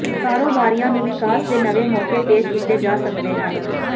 ਕਾਰੋਬਾਰੀਆਂ ਨੂੰ ਵਿਕਾਸ ਦੇ ਨਵੇਂ ਮੌਕੇ ਪੇਸ਼ ਕੀਤੇ ਜਾ ਸਕਦੇ ਹਨ